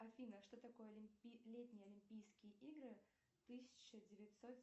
афина что такое летние олимпийские игры тысяча девятьсот